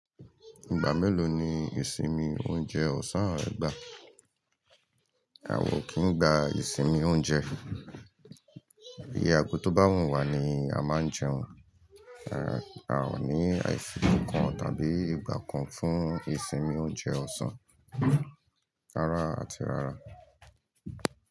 Ìgbà mélòó ni ìsinmi oúnjẹ ọ̀sán rẹ gbà? A ò kí ń gba ìsinmi oúnjẹ. Iye ago tó bá wùn wá ni a máa n jẹun. A ò ní àìsìkò kan tàbí ìgbà kan fún ìsinmi oúnjẹ ọ̀sán, rárá àti rárá.